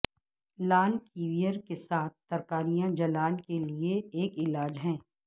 لال caviar کے ساتھ ترکاریاں جلال کے لئے ایک علاج ہے